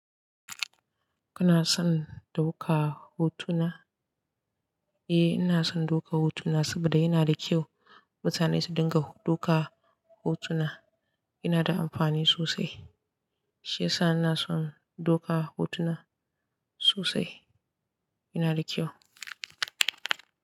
Kana son dauka hotuna? Eh, ina son doka hotuna saboda yana da kyau mutane su dinga doka hotuna. Yana da amfani sosai. Shi yasa ina son dauka hotuna sosai. Yana da kyau.